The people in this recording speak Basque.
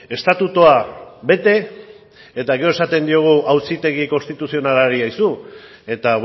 estatutua bete eta gero esaten diogu auzitegi konstituzionalari eta